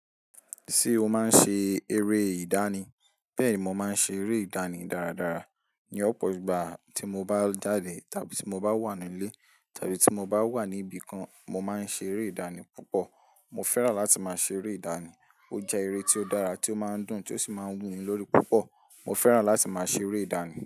Ṣé o máa ń ṣe eré ìdánì? Bẹ́ẹ̀ ni mo máa ń ṣe eré ìdánì dáradára. Ni ọ̀pọ̀ ìgbà tí mo bá jade tábí tí mo bá wà ní ilé tábí tí mo bá wà ní ibìkan, mo máa ń ṣe eré ìdánì púpọ̀. Mo fẹ́ràn láti máa ṣe eré ìdánì. Ó jẹ́ eré tí ó dára, tí ó máa ń dùn, tí ó sì máa ń wù mí lórí púpọ̀. Mo fẹ́ràn láti máa ṣe eré ìdánì.